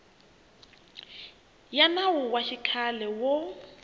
ya nawu wa xikhale wo